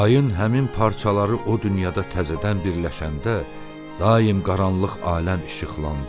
Ayın həmin parçaları o dünyada təzədən birləşəndə daim qaranlıq aləm işıqlandı.